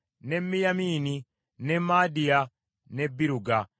ne Miyamini, ne Maadiya, ne Biruga,